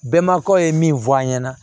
Bɛnbakaw ye min fɔ an ɲɛna